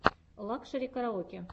лакшери караоке